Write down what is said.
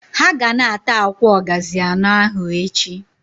Ha ga na- ata akwa ogazi ano ahu echi.